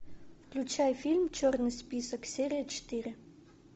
включай фильм черный список серия четыре